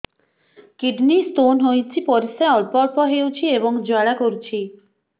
kidney stone ହୋଇଛି ପରିସ୍ରା ଅଳ୍ପ ଅଳ୍ପ ହେଉଛି ଏବଂ ଜ୍ୱାଳା କରୁଛି